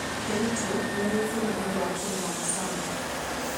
Kericho nĩ yũĩkaine nĩ ũndũ wa kũrĩma macani.